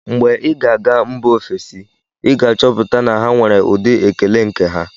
Mgbe ị ga-aga mba ofesi, ị ga-achọpụta na ha nwere ụdị ekele nke ha.